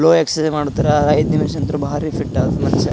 No exercise ಮಾಡುತ್ತಾರೆ ಐದ್ ನಿಮಿಷ ಅಂತ್ರ ಭಾರಿ ಫಿಟ್ ಅದ ಮನುಷ್ಯ.